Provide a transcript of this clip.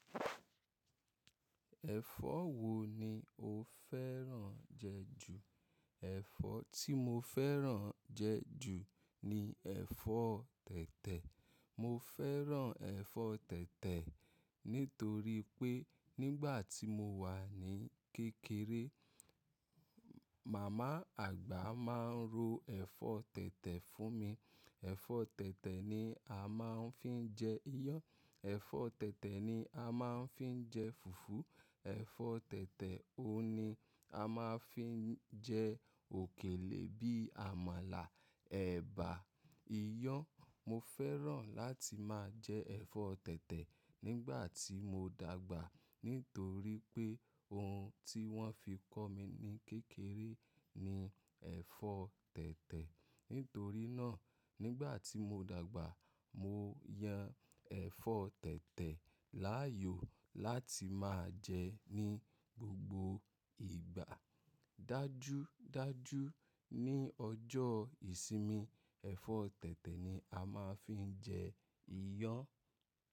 Ẹ̀fọ́ wo ni o fẹ́ràn jẹ ju? Ẹ̀fọ́ tí mo fẹ́ràn jẹ ju ni ẹ̀fọ́ tẹ̀tẹ̀. Mo fẹ́ràn ẹ̀fọ́ tẹ̀tẹ̀ nítorí pé nígbà tí mo wà ní kékeré, màmá àgbà máa ń ro ẹ̀fọ́ tẹ̀tẹ̀ fún mi. Ẹ̀fọ́ tẹ̀tẹ̀ ni a máa ń fi jẹ iyán, ẹ̀fọ́ tẹ̀tẹ̀ ni a máa ń fi jẹ fùfú, ẹ̀fọ́ tẹ̀tẹ̀ ohun ni a máa ń fi jẹ òkèlè bí i àmàlà, ẹ̀bà, iyán. Mo fẹ́ràn láti máa jẹ ẹ̀fọ́ tẹ̀tẹ̀ nígbà tí mo dàgbà nítorí pé ohun tí wọ́n fi kọ́ mi ní kékeré ni ẹ̀fọ́ tẹ̀tẹ̀. Nítorí náà, nígbà tí mo dàgbà, mo yan ẹ̀fọ́ tẹ̀tẹ̀ láàyò láti máa jẹ ní gbogbo ìgbà. Dájúdájú ní ọjọ́ ìsinmi, ẹ̀fọ́ tẹ̀tẹ̀ ni a máa ń fi jẹ iyán.